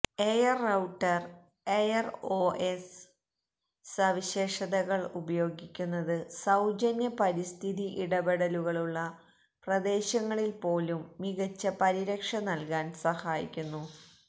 air router AirOS സവിശേഷതകൾ ഉപയോഗിക്കുന്നത് സൌജന്യ പരിസ്ഥിതി ഇടപെടലുകളുള്ള പ്രദേശങ്ങളിൽ പോലും മികച്ച പരിരക്ഷ നൽകാൻ സഹായിക്കുന്നു